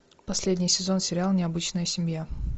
последний сезон сериал необычная семья